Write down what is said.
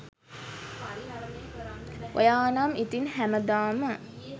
ඔයා නම් ඉතින් හැම දාම